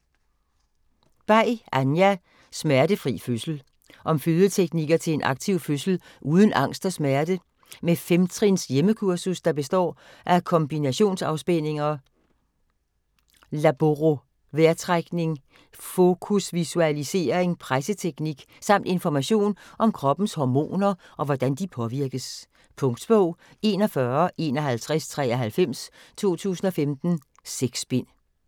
Bay, Anja: Smertefri fødsel Om fødeteknikker til en aktiv fødsel uden angst og smerte. Med femtrins hjemmekursus, der består af kombinationsafspændinger, laborovejrtrækning, fokusvisualisering, presseteknik, samt information om kroppens hormoner og hvordan de påvirkes. Punktbog 415193 2015. 6 bind.